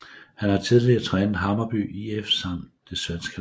Han har tidligere trænet Hammarby IF samt det svenske landshold